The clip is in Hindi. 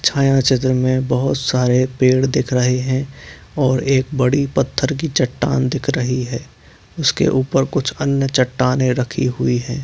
छाया चित्र मे बहुत सारे पेढ़ दिख रहे है और एक बडी पत्थर की चट्टान दिख रही है उसके उपर कुछ अन्य चट्टानें रखी हुई हैं ।